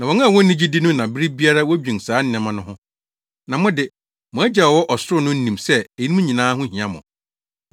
Na wɔn a wonni gyidi no na bere biara wodwen saa nneɛma no ho. Na mo de, mo Agya a ɔwɔ ɔsoro no nim sɛ eyinom nyinaa ho hia mo.